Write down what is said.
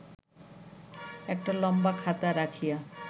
একটা লম্বা খাতা রাখিয়া